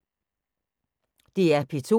DR P2